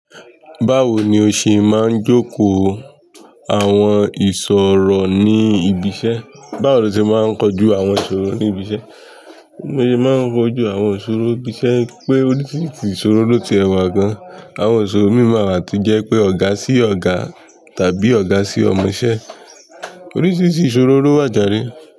Báwo ni o ṣe máa ń jókòó àwọn ìṣòro ní ibi iṣẹ́? Báwo lo ṣe máa ń kojú àwọn ìṣòro ní ibi iṣẹ́? Bi mo se máa ń kojú àwọn ìṣòro ibi iṣẹ́, pé oríṣiríṣi ìṣòro ló tiẹ̀ wà gan-an. Àwọn ìṣòro míì máa wà tí o jẹ́ pé ọ̀gá sí ọ̀gá tàbí ọ̀gá sí ọmọ iṣẹ́. Oríṣiríṣi ìṣòro ló wà jare.